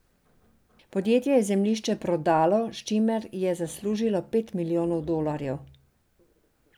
Podjetje je zemljišče prodalo, s čimer je zaslužilo pet milijonov dolarjev.